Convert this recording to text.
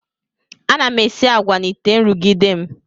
Ana m esi agwa n'ite nrụgide m.